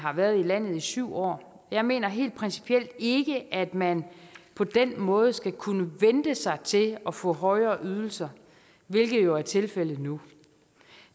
har været i landet i syv år jeg mener helt principielt ikke at man på den måde skal kunne vente sig til at få højere ydelser hvilket jo er tilfældet nu